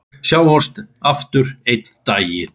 Sjáumst aftur einn daginn.